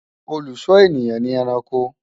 olú sò ènìyàn ní ẹranko